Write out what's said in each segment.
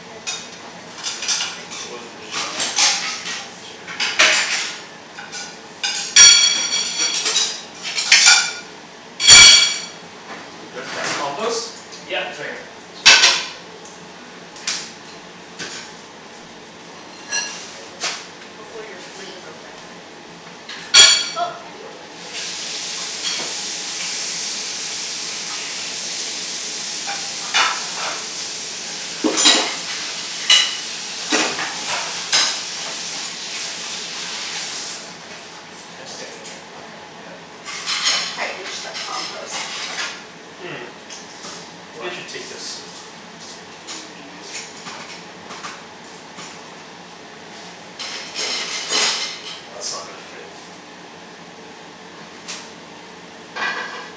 Are you done with your cutleries? Yeah, thank We'll you. load the dishwasher. I'm so full. Just, that's compost? I haven't Yeah, had, it's right eaten this much here. Sweet. food in days. Mm. Trying to pace myself the whole time like, don't Hopefully your stomach overeat, is don't okay. overeat. Well, I didn't eat anything like spicy so. Mm mhm. Just stick it in there. Yep. Okay. I can't quite reach the compost. Hmm, maybe I should take this. Well, that's not gonna fit.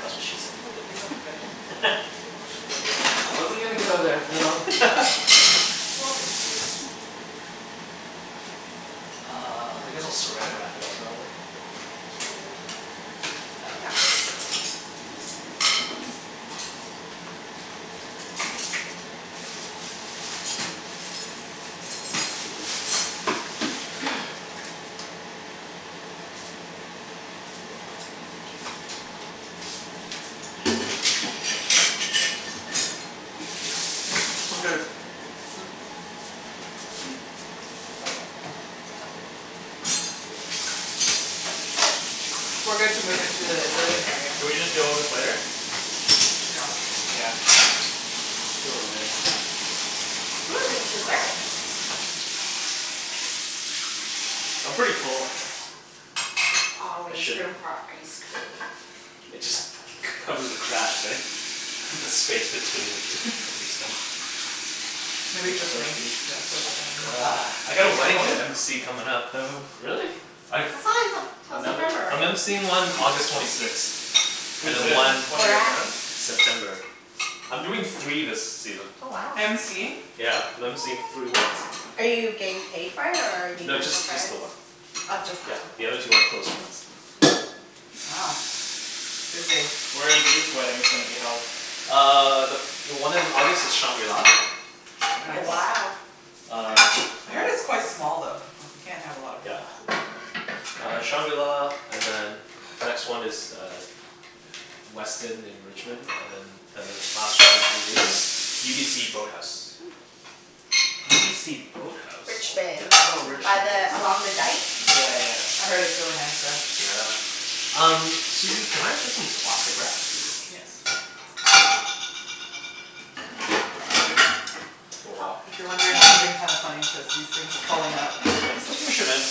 That's what she I said. think we could leave out the veggies and stuff in case they want some I wasn't gonna afterwards go so there, Oh We Phil. okay. can just clean our own plates and we'll do the dishes later. No big deal. Uh, I guess I'll saran wrap it up probably. Shall I leave the chicken as well? Yeah, sure. We're good to move into the living area. Should we just deal with this later? Yeah. Yeah, it's fine. We'll deal with it later. Ooh, there's dessert! I'm pretty full. There's always room for ice cream. It just, cover the cracks, right, the space between the food. Should Maybe we just soak rinse, these? yeah soak that Ugh, I right got in. a Whose wedding phone to is MC comin' that? up, though. Really? I thought it was a, till September, I'm right? MCing one August twenty sixth, and Who's then this? one One Where of your at? friends? September. I'm doing three this season. Oh wow. MCing? Yeah, I'm MCing three weddings. Are you getting paid for it or are you No, doing it just, for just the friends? one. Oh just Yeah, that one. the other two are close friends. Wow. Busy. Where are these weddings gonna be held? Uh the, the one in August is shangri-la. Mm Nice. wow. Uh I heard it's quite small though, like you can't have a lot of Yeah. people. Uh shangri-la and then next one is uh Westin in Richmond and then uh last one is UBC boathouse. UBC boathouse? Yeah, Richmond. it's Oh in By Richmond, yes. the, along the Rich- dike? Yeah yeah. I heard it's really nice there. Yeah. Um, Susie, can I get some plastic wrap? Yes. Oh wow. If you're wondering, I'm moving kinda funny cuz these things are falling out. Here, just push'em in.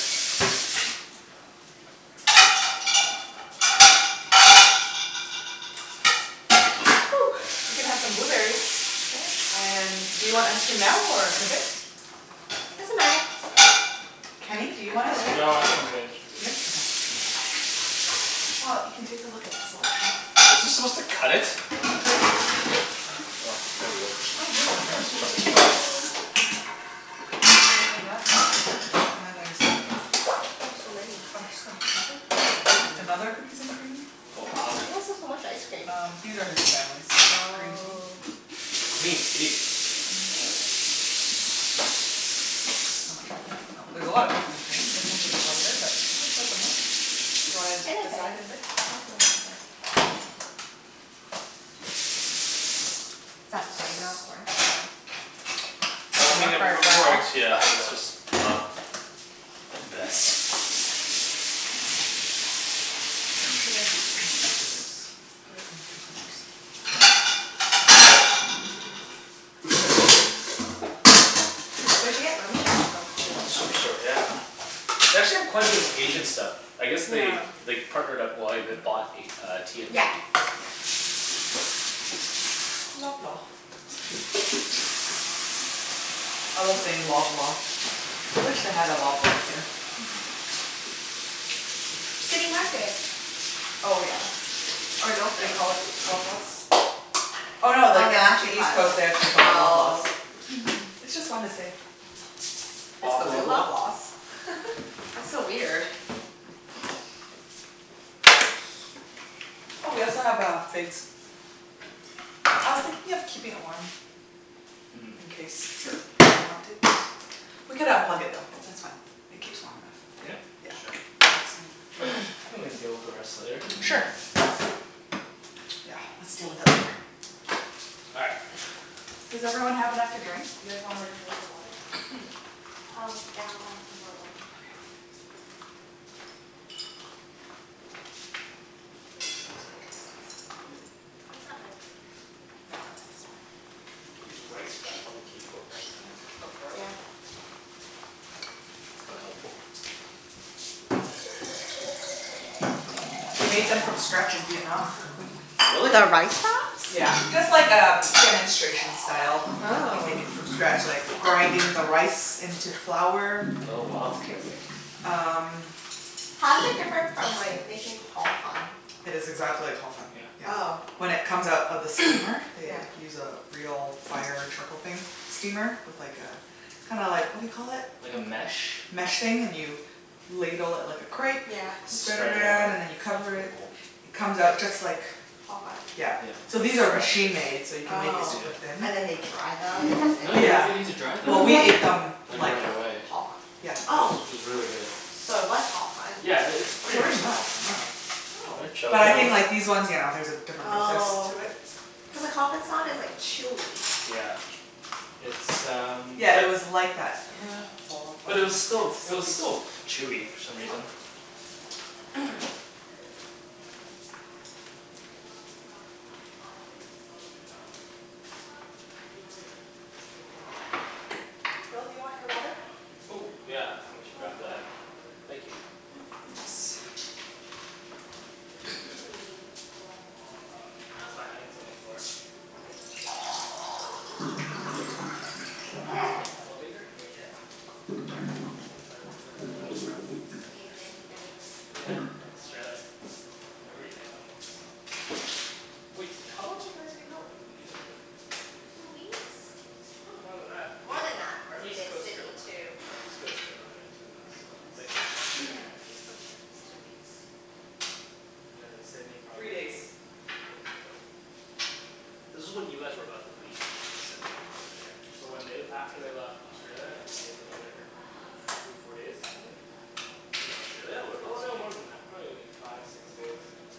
We can have some Woo! blueberries. And do you want ice cream now or in a bit? Doesn't matter. Kenny, do I you want ice can wait. cream? No, I think I'm good. Good? Okay. Well, you can take a look at the Is this supposed selection. to cut it? Oh, there we go. Oh here's the shrimp. Cookies n cream. And then there's Oh so many Butterscotch maple? Another cookies n cream Oh wow. Why do you guys have so much ice cream Um these are his family's. Green tea. Oh. Green tea? Whoa. I'ma try this. Oh, there's a lot of cookies n cream, this one's a bit lighter but there's still so much. You wanna In a bit, decide in a bit? I'll do it in a bit. What's that plate out for? Oh, it Well, I doesn't mean it work wor- very it well. works yeah, it was just not the best. Where should I be, just put it in the containers. Where d'you get lemongrass from, Superstore? Superstore, yeah. They actually have quite a bit of Asian stuff. I guess they they partnered up, well, they bought a uh T&T. Yeah, yeah. Loblaw. I love saying Loblaw. I wish they had a Loblaws here. City Market. Oh yeah. Or No They Frills. call it Loblaws? Oh Oh no they, no in actually East Coast they actually call it Loblaws Oh. It's just fun to say. Let's go to Loblaws. That's so weird. Oh we also have uh figs. I was thinking of keeping it warm in case people want it. We could unplug it though, that's fine. It keeps warm Yeah? enough. Yeah. Sure Think we can deal with the rest later. Sure. Yeah, let's deal with it later. All right. Does everyone have enough to drink? You guys wanna refill your water? Oh, yeah I'll grab some more water. Okay. I didn't use my chopsticks. Oh, is that my paper towel? No I think it's mine. These rice wraps probably keep for a long time. Oh Yeah. forever. Mhm. We made them from scratch in Vietnam. Really? The rice wraps? Yeah, just like um demonstration style. They Oh. make it from scratch like the grinding the rice into flour Oh It's wow. crazy. Um How's it different from like making Ho Fun? It's exactly like Ho Fun, Yeah. yeah. Oh. When it comes out of the steamer, they like use a real fire trickle thing steamer? With like a, kinda like what do you call it? Like a mesh? Mesh thing, and you ladle it like a crepe Yeah Spread it around and then you That's cover pretty it, cool it comes out just like Ho Fun? Yeah. So these are machine-made so you can make it Oh. super thin. And then they dry them and then No, you they? don't Yeah. even need to dry them. Well we ate them Like like right away. Ho fun. Yeah It was, Oh. it was really good. So it was Ho Fun. Yeah, it, it's pretty much Pretty like Ho much, yeah. Fun. But Oh. I think like these ones yeah there's a different process Oh. to it. Cuz like Ho Fun's not as like chewy. Yeah, it's um Yeah it was like that Ho Fun But it was still, it was consistency still chewy for some reason. Phil, do you want your water? Oh yeah, I should I'll grab fill it. that Thank you. Should we pull up Ah, that's fine. I can sit on the floor. It's called Elevator? Yeah. Let's see if I remember how to Played this explain game it. many nights Yeah, in Australia. Every night almost. Wait, how long did you guys hang out with each other for? Two weeks? Probably more than that. More than that. Our Cuz we East did Coast trip Sydney too. Our East Coast trip was like two weeks Here you go. Thank you. Yeah. East Coast trip was two weeks. And then in Sydney Three days. probably Three days? Was it? This is when you guys were about to leave Sydney for good, Yeah, so right? when they l- after they left Australia, we stayed for another f- three, four days, I think? Mhm. In Australia or in Oh no, Sydney? more than that. Probably like five, six days.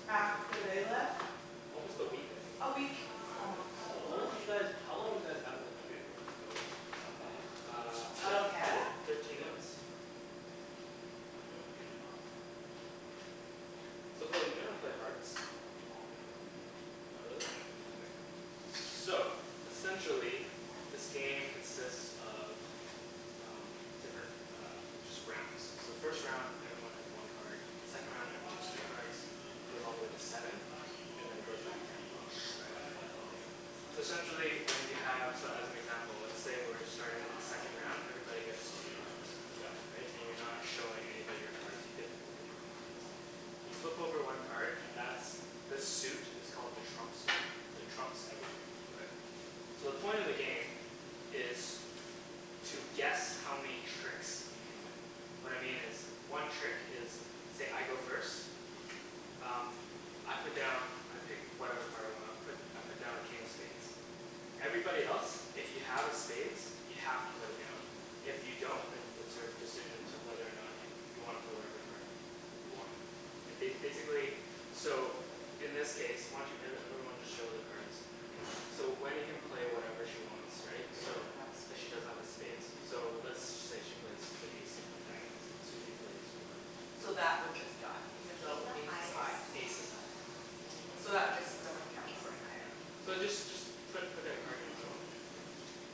After they left? Almost a week I think. A week, almost. How long did you guys, how long were you guys out of the country for then, total? Uh Out of Canada? Thirteen months. So Phil do you know how to play Hearts? Mm. Not really? No. Okay. So essentially, this game consists of um different uh, just rounds. So the first round everyone has one card, second round everyone has two cards, goes all the way to seven, and then it goes back down to one. That's Okay. why it's called Elevator. So essentially when you have, so as an example let's say we're starting with the second round, everybody gets two cards. Yep. Right? And you're not showing anybody your cards. You get to look at your own cards. You flip over one card and that's, the suit is called the trump suit, so it trumps everything. Okay. So the point of the game is to guess how many tricks you can win. What I mean is one trick is say, I go first, um I put down I pick whatever card I want, I put I put down a King of Spades. Everybody else if you have a spades, you have to put it down, if you don't then it's your decision to, whether or not you you wanna play whatever card you want. And ba- basically so in this case, why don't you, every everyone just show their cards. So Wenny can play whatever she wants right, Cuz she so. doesn't have a Cuz she spade. doesn't have a spades. So let's say she plays the ace of diamonds, and Susie plays whatever. So that would just die, Is even though king the Ace is high. highest? Ace is higher. So that would K. just, doesn't count Ace for is anything. higher. So just just put put a card down, Susie.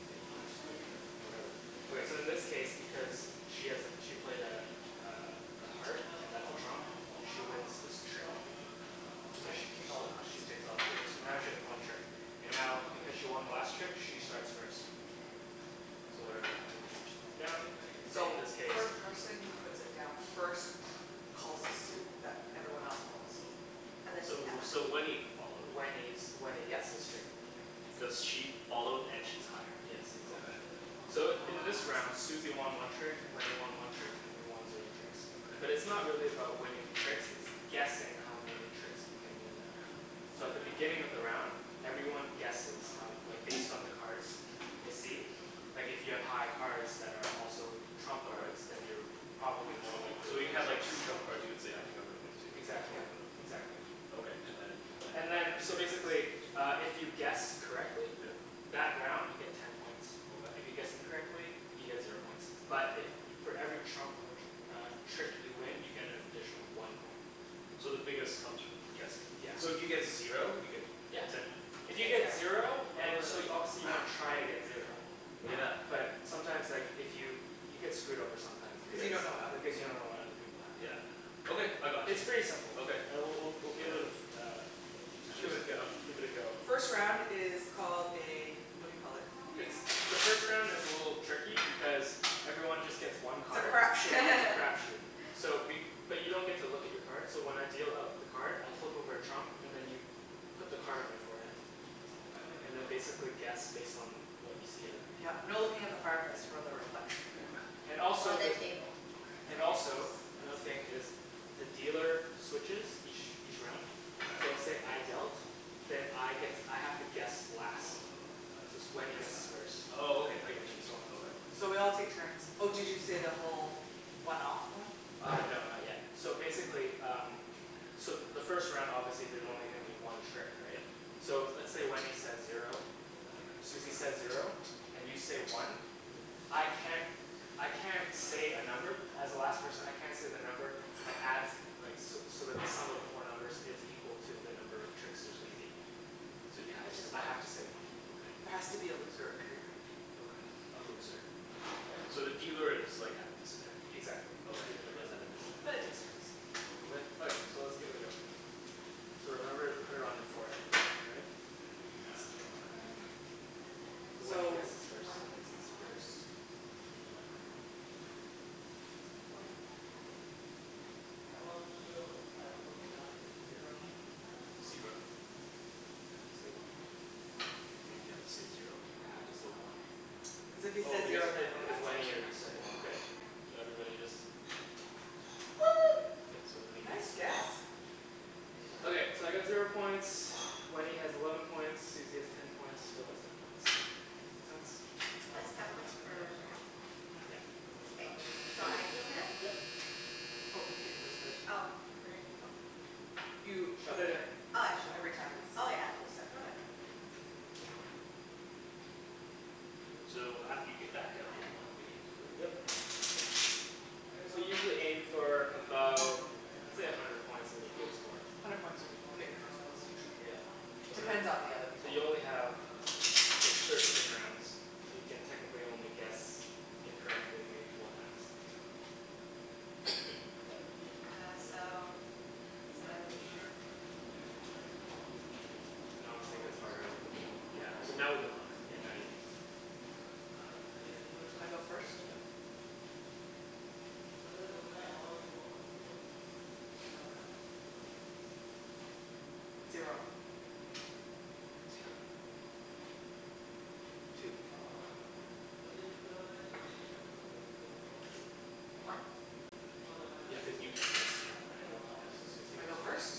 K, you just put your card down whatever. Okay so in this case because she has a, she played a uh a heart and that's a trump, she wins this trick. I Okay. So take all the cards. she takes all too, so now she has one trick, and now because she won the last trick, she starts first. So whatever everybody just puts down, so in So this case first person who puts it down first calls a suit that everyone else follows. So, so Wenny followed. Wenny's, Wenny gets this trick. Cuz she followed and she's higher. Yes, exactly. Okay. So in this round Susie won one trick, Wenny won one trick and we won zero tricks. But it's Okay. not really about winning tricks, it's guessing how many tricks you can win that round. So at the beginning of the round, everyone guesses how, like based on the cards they see. Like if you have high cards that are also trump cards. Then Okay. you're p- probably more likely to So you win have like tricks. two trump cards, you could say, I think I'm gonna win two. Exactly. Both Yep. of them. Exactly. Okay, and then, then And what? then How do you so get points? basically uh if you guess correctly Yeah. That round you get ten points. Okay. If you guess incorrectly, you get zero points, but if for every trump tr- uh trick you win you get an additional one point. So the biggest comes from guessing. Yeah. So if you get zero you get Yeah. Ten poi If you get zero Oh So you, yeah. obviously you wanna try to get zero. Yeah. But sometimes like, if you, you get screwed over sometimes Cu you because don't know what other Because people you have don't know what other people have, Yeah, right? yeah. Okay, I got you. It's pretty simple. Okay. All right, we'll we'll we'll give it a fe- uh a f- uh a few times. Give it a go. Give it a go. First round is called a what do you call it. The first round is a little tricky because everyone just gets one It's a card. crap shoot. It's a crap shoot. So be- but you don't get to look at your card, so when I deal out the card, I'll flip over a trump and then you put the card on your forehead. Oh okay. And then basically guess based on what you see other people have. Yep, no looking at the fireplace for the reflection. Okay. And Or also the the- table. Okay. And also, another thing is the dealer switches each each round. So Okay. say I dealt, then I get to, I have to guess last. So it's, Wenny guesses first. Oh okay, I And get then, you. and so on and so forth. So we all take turns. Oh did you say the whole one off one? Uh no, not yet. So basically um, so the first round obviously there's only gonna be one trick, right? Yep. So let's say Wenny says zero, Susie says zero, and you say one. Mhm. I can't, I can't say a number, as the last person I can't say the number that adds like so so that the sum of the four numbers is equal to the number of tricks there's gonna be. So you have to say I one. have to say one. There Okay. has to be a loser every round. Okay. A loser. Okay? Okay. So the dealer is like at a disadvantage. Exactly. Okay. Dealer is at a But it disadvantage. takes turns. Okay. Okay, so let's give it a go. So remember put it on your forehead, all right? That's the trump card. So Wenny So guesses first. Wenny guesses first. One. Zero. Zero. I have to say one. You mean you have to say zero? I have to say one. Cuz if he Oh says because zero then it, it Because adds Wenny one. already up to said one. okay. Yeah, so everybody just One! K, so Wenny Nice gets guess! Okay, so I got zero points, Wenny has eleven points, Susie has ten points, Phil has ten points. Makes sense? It's ten points per round? Mhm. Yep. Okay. So I deal now? Yep. Oh you keep those cards in, Oh where do I mhm. keep em? You put it Shuffle'em. in. Oh I shuff- Every time it's oh from yeah? the whole set, yeah. So after you get back down to one, the game's over? Yep. So usually aim for about, let's say a hundred points is a good score. Hundred points would get you first place usually. Yeah. So hundred Depends p- on the other So people you only have thir- thirteen rounds So you can Yeah. technically only guess incorrectly maybe four times. Okay. Uh so does it matter which Doesn't matter, whatever. And obviously gets harder with the more, Yeah, more cards so you now we can look. get. Yeah, now you can look I go first? Yep. Zero. Zero. Two. One. Yeah, cuz you can't say zero, right? Mhm So Susie I go goes first? first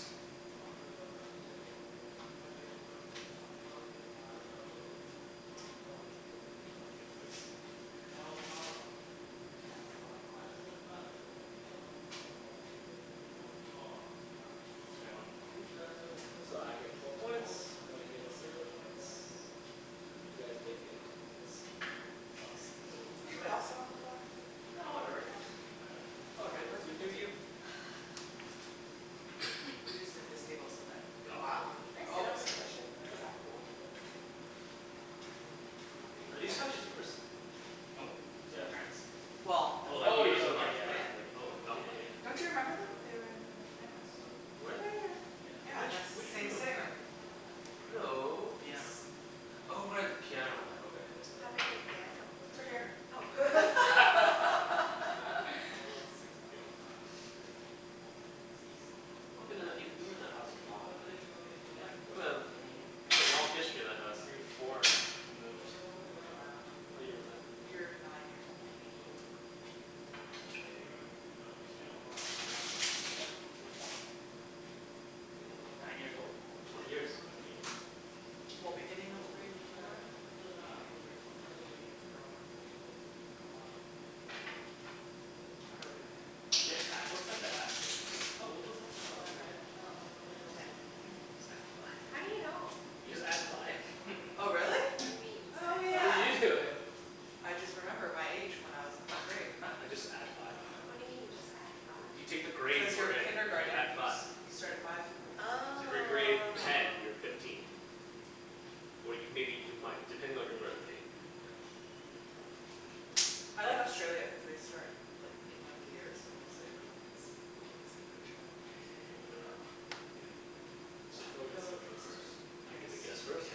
Kenny wins? I won my two. So I get twelve points, Wenny gets zero points, you guys both get ten points. Excellent. Should we all sit on the floor? No whatever, it's all good. You do you. We'll just move this table so that we could Can I sit on the cushion? Yep Is that cool? Are these couches yours? Nope, these are my parents'. Well, they're Oh like Oh from yours yeah are ok North like yeah. like Van. like oh Yeah not like yeah yeah. Don't you remember them? They are in the North Van house too. Were they? Yeah, Which, and the Yeah. which same room? sitting room. Yeah. With No. the piano. Oh right. The piano one, okay. What happened to the piano? It's It's right right over Oh here. here. Susie's deal. Oh what is this. You've been that, you, you were in that house for a long time. Yeah, mm. You've got a long history in that house. Grade four, I moved. What year was that? You were nine Nine years years old. old? I moved away, we sold it like last year? Yeah. Twen- nine years old? Twenty years. Twenty years, yeah. Well, beginning of grade four or end of grade Beginning of four? grade four. You were eight. Yeah. I'm really good at that. Yeah, I always have to ask her. How old was I? When I was in grade five? Ten. Just add five. How do you know? You just add five. Oh really? What do you mean, Oh just oh add How yeah. you five? do know then? I just remember my age when I was what grade I just add five. What do you mean you just add five? You take the grade Cuz your you're in, and you add kindergarten you s- five. you start at five So if you're grade Oh. ten, you're fifteen. Or you, maybe you might, depending on your Mm. birthday. Trump. I like Australia cuz they start like, beginning of the year so mostly everyone has the same age. Like it doesn't overlap weirdly. Yeah, so Phil gets to go first. I get to guess first? Yeah.